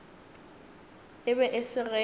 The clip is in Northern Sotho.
e be e se ge